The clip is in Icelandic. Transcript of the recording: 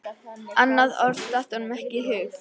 Annað orð datt honum ekki í hug.